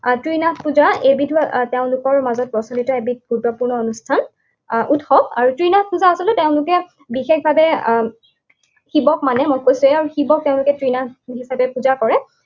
ত্ৰিনাথ পূজা, এইবিধো তেওঁলোকৰ মাজত প্ৰচলিত এবিধ গুৰুত্বপূৰ্ণ অনুষ্ঠান আহ উৎসৱ আৰু ত্ৰিনাথ পূজা আচলতে তেওঁলোকে বিশেষভাৱে আহ শিৱক মানে, মই কৈছোৱেই, শিৱক তেওঁলোকে ত্ৰিনাথ হিচাপে পূজা কৰে।